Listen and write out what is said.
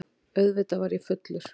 Auðvitað var ég fullur.